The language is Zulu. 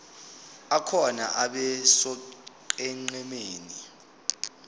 akhona abe sonqenqemeni